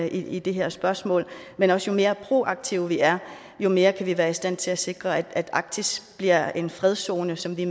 i det her spørgsmål men også jo mere proaktive vi er jo mere kan vi være i stand til at sikre at arktis bliver en fredszone som vi